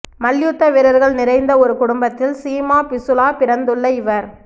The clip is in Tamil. மல்யுத்த வீரர்கள் நிறைந்த ஒரு குடும்பத்தில் சீமா பிசுலா பிறந்துள்ள இவர்